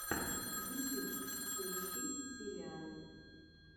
ютьюб поищи сериалы